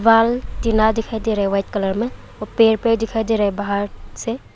बाहर टीना दिखाई दे रहा है वाइट कलर में और पेड़ पेड़ दिखाई दे रहा है बाहर से।